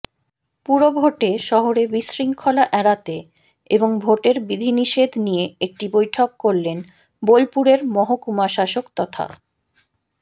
পুরভোটে শহরে বিশৃঙ্খলা এড়াতে এবং ভোটের বিধিনিষেধ নিয়ে একটি বৈঠক করলেন বোলপুরের মহকুমাশাসক তথা